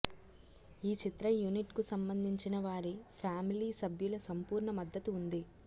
ఈ చిత్ర యూనిట్కు సంబంధించిన వారి ఫ్యామిలీ సభ్యుల సంపూర్ణ మద్దతు ఉంది